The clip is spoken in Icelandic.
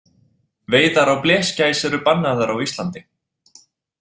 Veiðar á blesgæs eru bannaðar á Íslandi.